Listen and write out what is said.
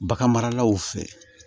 Bagan maralaw fɛ